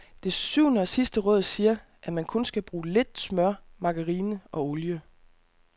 Det syvende og sidste råd siger, at man kun skal bruge lidt smør, margarine og olie.